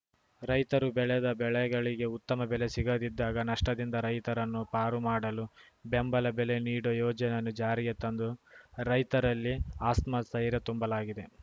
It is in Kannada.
ರೈತರು ಬೆಳೆದ ಬೆಳೆಗಳಿಗೆ ಉತ್ತಮ ಬೆಲೆ ಸಿಗದಿದ್ದಾಗ ನಷ್ಟದಿಂದ ರೈತರನ್ನು ಪಾರುಮಾಡಲು ಬೆಂಬಲ ಬೆಲೆ ನೀಡುವ ಯೋಜನೆಯನ್ನು ಜಾರಿಗೆ ತಂದು ರೈತರಲ್ಲಿ ಆಸ್ಮಸ್ಥೈರ್ಯ ತುಂಬಲಾಗಿದೆ